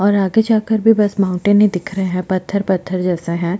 और आगे जाकर भी बस माउंटेन ही दिख रहा है पत्थर - पत्थर जैसा है।